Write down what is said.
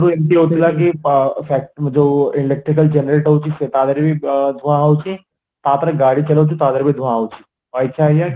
ଏମିତି ହାଉଥିଲା କି ଅ factory ରୁ ଯୋଉ electrical generate ହଉଚି ତାଦିହରେ ବି ଧୁଆଁ ହଉଚି ତାପରେ ଗାଡି ଚଳଉଛୁ ତା ଧୀରେ ବି ବି ଧୂଆଁ ହଉଚି ଅଇଛା ଆଂଜ୍ଞା